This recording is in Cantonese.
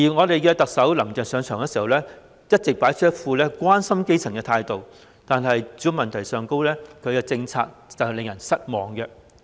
特首"林鄭"上場後一直擺出一副關心基層的態度，但她對住屋問題的政策卻令人感到失望。